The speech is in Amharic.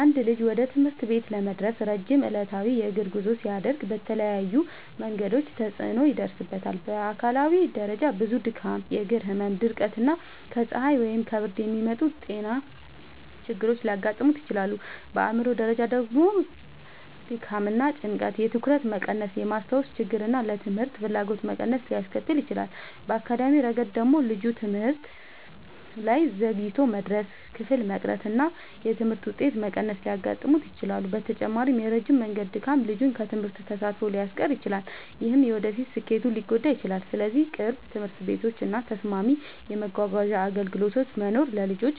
አንድ ልጅ ወደ ትምህርት ቤት ለመድረስ ረጅም ዕለታዊ የእግር ጉዞ ሲያደርግ በተለያዩ መንገዶች ተጽዕኖ ይደርስበታል። በአካላዊ ደረጃ ብዙ ድካም፣ የእግር ህመም፣ ድርቀት እና ከፀሐይ ወይም ከብርድ የሚመጡ ጤና ችግሮች ሊያጋጥሙት ይችላሉ። በአእምሯዊ ደረጃ ደግሞ ድካም እና ጭንቀት የትኩረት መቀነስን፣ የማስታወስ ችግርን እና ለትምህርት ፍላጎት መቀነስን ሊያስከትል ይችላል። በአካዳሚያዊ ረገድ ደግሞ ልጁ ትምህርት ላይ ዘግይቶ መድረስ፣ ክፍል መቅረት እና የትምህርት ውጤት መቀነስ ሊያጋጥሙት ይችላሉ። በተጨማሪም የረጅም መንገድ ድካም ልጁን ከትምህርት ተሳትፎ ሊያስቀር ይችላል፣ ይህም የወደፊት ስኬቱን ሊጎዳ ይችላል። ስለዚህ ቅርብ ትምህርት ቤቶች እና ተስማሚ የመጓጓዣ አገልግሎቶች መኖር ለልጆች